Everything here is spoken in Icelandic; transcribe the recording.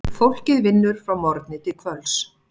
Fólkið vinnur frá morgni til kvölds.